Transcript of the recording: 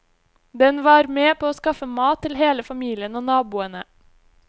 Den var med på å skaffe mat til hele familien og naboene.